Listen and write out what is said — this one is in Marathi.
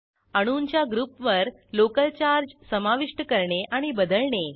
अणूंच्या ग्रुपवर लोकल चार्ज समाविष्ट करणे आणि बदलणे